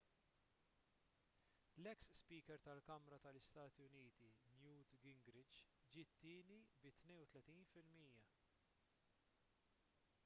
l-eks speaker tal-kamra tal-istati uniti newt gingrich ġie t-tieni bi 32 fil-mija